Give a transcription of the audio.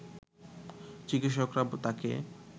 চিকিৎসকরা তাকে